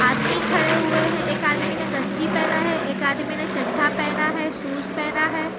आदमी खड़े हुए हैं एक आदमी ने गंजी पहना है एक आदमी ने चड्ढा पहना है शूज पहना है।